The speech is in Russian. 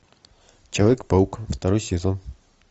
человек паук второй сезон